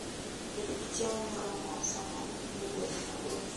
Bed gi chiemo moromo sama in e wuoth mabor.